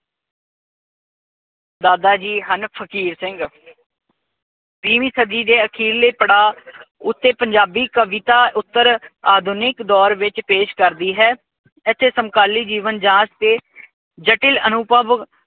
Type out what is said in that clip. ਦਾਦਾ ਜੀ ਹਨ ਫ਼ਕੀਰ ਸਿੰਘ। ਵੀਵੀਂ ਸਦੀ ਦੇ ਅਖੀਰਲੇ ਪੜਾਅ ਉੱਤੇ ਪੰਜਾਬੀ ਕਵਿਤਾ ਉਪਰ ਆਧੁਨਿਕ ਦੌਰ ਵਿੱਚ ਪੇਸ਼ ਕਰਦੀ ਹੈ। ਇਥੇ ਸਮਕਾਲੀ ਜੀਵਨ-ਜਾਂਚ ਤੇ ਜਟਿਲ ਅਨੁਭਵ